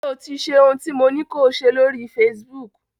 Ṣé o ti ṣe ohun tí mo ní ko ṣe lóri Facebook?